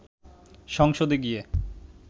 সংসদে গিয়ে